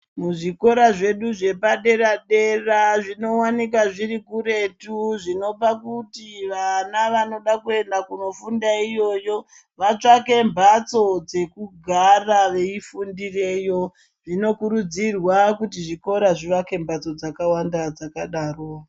Muzvikora zvedu zvepadera dera zvi kwanika zviri kuretu zvinopa kuti vana vanoda kuenda kunofunda iyoyo vatsvake mbatso dzekugara veifundireyo zvinokuridzirwa kuti zvikora zvivake imbadzo dzakawanda dzakadaro.